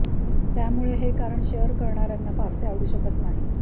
त्यामुळे हे कारण शेअर करणार्यांना फारसे अडवु शकत नाही